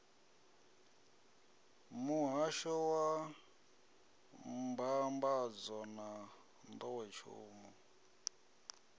muhahsho wa mbambadzo na nḓowetshumo